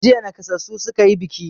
Jiya naƙasassu suka yi buki.